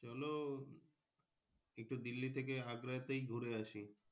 চলো একটু দিল্লি থেকে আগ্রাতেই ঘুরে আসি।